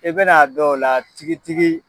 I bɛn'a dɔn o la tigitigi